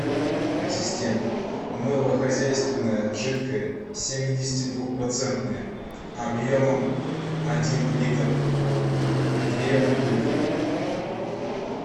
ассистент мыло хозяйственное жидкое семидесяти двух процентное объемом один литр две бутылки